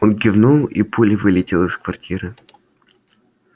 он кивнул и пулей вылетел из квартиры